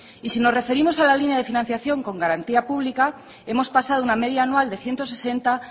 y si nos referimos a la línea de financiación con garantía pública hemos pasado una media anual de ciento sesenta